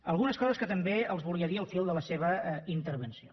algunes coses que també els volia dir al fil de la seva intervenció